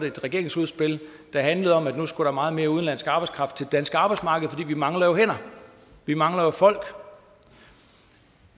et regeringsudspil der handlede om at nu skulle der meget mere udenlandsk arbejdskraft til det danske arbejdsmarked fordi vi jo mangler hænder vi mangler jo folk